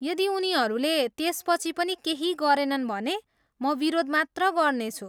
यदि उनीहरूले त्यसपछि पनि केही गरेनन् भने म विरोध मात्र गर्नेछु।